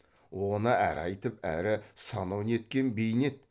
оны әрі айтып әрі санау неткен бейнет